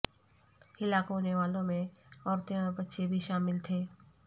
ہلاک ہونے والوں میں عورتیں اور بچے بھی شامل تھے